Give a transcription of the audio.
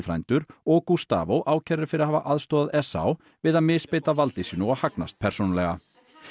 frændur og Gustavo ákærðir fyrir að hafa aðstoðað Esau við að misbeita valdi sínu og hagnast persónulega